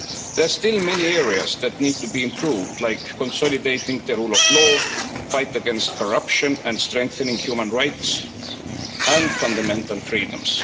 There are still many areas that need to be improved, like consolidating the rule of law, the fight against corruption and strengthening human rights and fundamental freedoms.